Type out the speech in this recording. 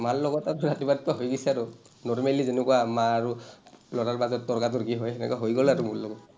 মাৰ লগত আৰ ৰাতিপুৱা ৰাতিপুৱা হৈ গৈছে আৰু। normally যেনেকুৱা, মা আৰু ল’ৰাৰ মাজত তৰ্কা-তৰ্কি হয়, তেনেকুৱা হৈ গ’ল আৰু মোৰ লগত।